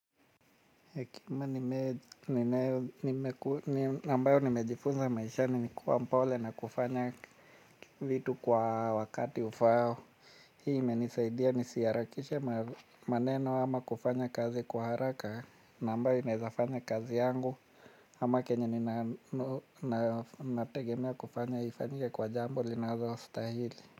Ambayo nimejifunza maishani ni kuwa mpole na kufanya vitu kwa wakati ufao. Hii imenisaidia nisiarakishe maneno ama kufanya kazi kwa haraka nambayo inaizafanya kazi yangu ama kenya ninategemea kufanya ifanyike kwa jambo linalo stahili.